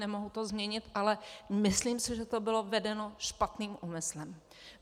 Nemohu to změnit, ale myslím si, že to bylo vedeno špatným úmyslem.